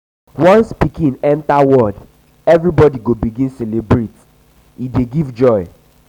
once pikin enta enta world everybodi go begin celebrate e dey give joy.